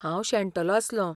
हांव शेणटलों आसलों.